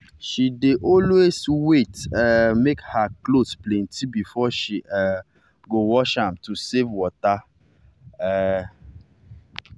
she dey always wait um make her clothes plenty before she um go wash am to save water. um